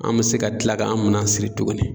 An me se ka kila k'an ka mina siri tuguni